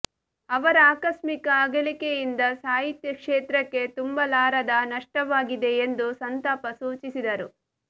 ಅವರ ಆಕಷ್ಮಿಕ ಅಗಲಿಕೆಯಿಂದ ಸಾಹಿತ್ಯ ಕ್ಷೇತ್ರಕ್ಕೆ ತುಂಬಲಾರದ ನಷ್ಟವಾಗಿದೆ ಎಂದು ಸಂತಪ ಸೂಚಿಸಿದರು